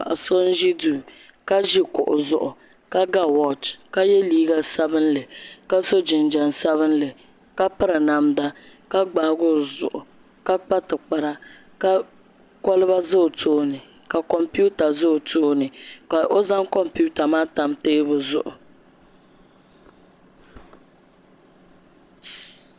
Paɣa so n ʒi duu ka ʒi kuɣu zuɣu ka ga wooch ka yɛ liiga sabinli ka so jinjɛm sabinli ka piri namda ka gbaagi o zuɣu ka kpa tikpara ka kolba ʒɛ o tooni ka kompiuta ʒɛ o tooni ka o zaŋ kompiuta maa tam teebuli zuɣu